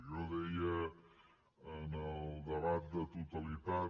jo deia en el debat de totalitat